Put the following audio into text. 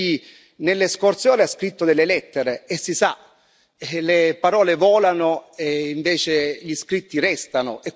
Perché Lei nelle scorse ore ha scritto delle lettere e, si sa, le parole volano e invece gli scritti restano.